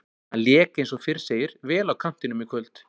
Hann lék eins og fyrr segir vel á kantinum í kvöld.